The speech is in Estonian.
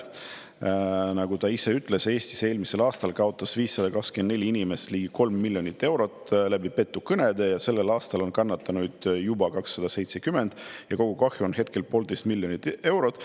Nagu ta ütles, Eestis eelmisel aastal kaotas 524 inimest ligi kolm miljonit eurot petukõnede tõttu ja sellel aastal on kannatanuid juba 270 ja kogukahju on hetkel poolteist miljonit eurot.